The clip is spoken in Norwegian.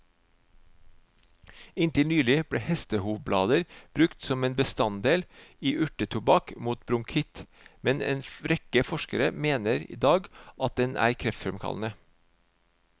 Inntil nylig ble hestehovblader brukt som en bestanddel i urtetobakk mot bronkitt, men en rekke forskere mener i dag at den er kreftfremkallende.